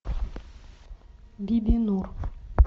бибинур